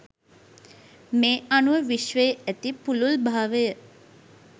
මේ අනුව විශ්වයේ ඇති පුළුල්භාවය